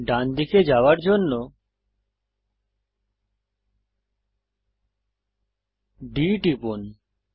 ডান দিকে যাওয়ার জন্য D টিপুন